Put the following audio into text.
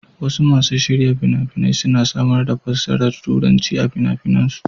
Wasu masu shirya fina-fina suna samar da fassarar Turanci a fina-finansu.